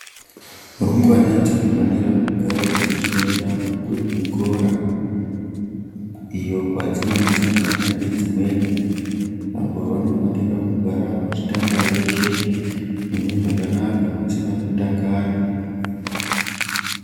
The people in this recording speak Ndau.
Rumbwana dzinofanira kugarawo dzechienda kuzvikora iyo kwadzinonosangana nedzimweni apo vanofanira kugara vachitamba veshe mune zvakanaka musina kutakana.